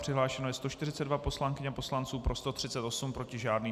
Přihlášeno je 142 poslankyň a poslanců, pro 138, proti žádný.